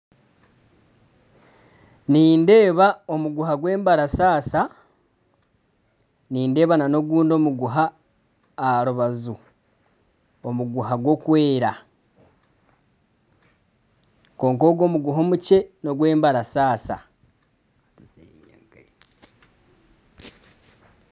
Nindeba omuguha gw'embarasasa. Nindeeba na n'ogundi omuguha aha rubaju omuguha gu kwera kwonka ogu omuguha omukye n'ogwembarasasa.